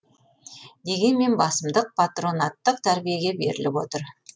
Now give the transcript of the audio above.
дегенмен басымдық патронаттық тәрбиеге беріліп отыр